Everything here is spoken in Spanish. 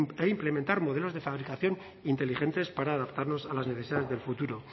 e implementar modelos de fabricación inteligentes para adaptarnos a las necesidades del futuro